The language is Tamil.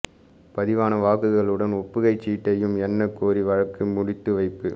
பதிவான வாக்குகளுடன் ஒப்புகைச் சீட்டையும் எண்ணக் கோரிய வழக்கு முடித்து வைப்பு